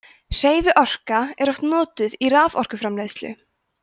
hreyfiorka er oft notuð í raforkuframleiðslu